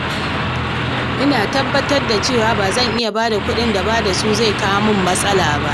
Ina tabbatar da cewa ba zan bada kuɗin da bada su zai iya kawo mini matsala ba.